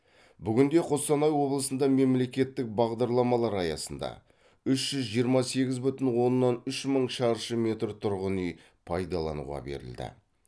бүгінде қостанай облысында мемлекеттік бағдарламалар аясында үш жүз жиырма сегіз бүтін оннан үш мың шаршы метр тұрғын үй пайдалануға берілді